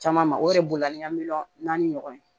Caman ma o yɛrɛ bolila ni ka miliyɔn naani ɲɔgɔn ye